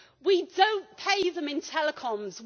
We do not pay them in telecoms.